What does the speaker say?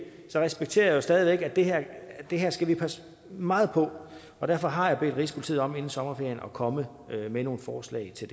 respekterer jeg stadig væk at det her det her skal vi passe meget på og derfor har jeg bedt rigspolitiet om inden sommerferien at komme med nogle forslag til